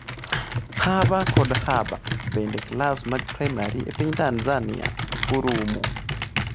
Haba kod Haba: Bende klas mag primary e piny Tanzania oromo?